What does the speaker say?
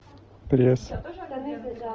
пресс